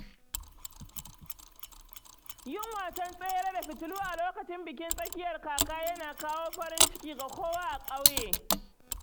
Yin wasan tsere da fitilu a lokacin bikin tsakiyar kaka yana kawo farin ciki ga kowa a ƙauye.